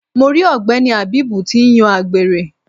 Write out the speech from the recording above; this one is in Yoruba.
Mo ri ogbeni Habeeb ti ń yan àgbèrè.